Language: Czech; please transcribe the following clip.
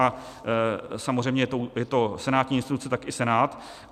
A samozřejmě je to senátní instituce, tak i Senát.